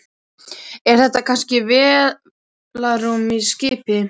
Er þetta kannski vélarrúm í skipi?